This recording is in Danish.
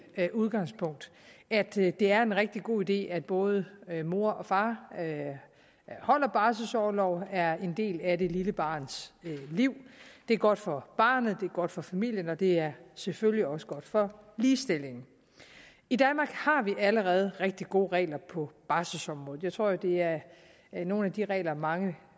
udgangspunkt at det er en rigtig god idé at både mor og far holder barselsorlov og er en del af det lille barns liv det er godt for barnet det er godt for familien og det er selvfølgelig også godt for ligestillingen i danmark har vi allerede rigtig gode regler på barselsområdet jeg tror det er nogle af de regler mange